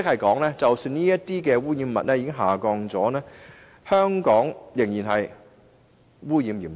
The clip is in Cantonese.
換言之，即使污染物的濃度已經下降，香港的空氣污染仍然嚴重。